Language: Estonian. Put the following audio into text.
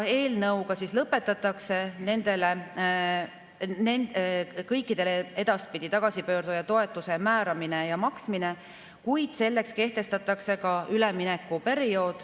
Eelnõuga lõpetatakse edaspidi tagasipöörduja toetuse määramine ja maksmine, kuid kehtestatakse ka üleminekuperiood.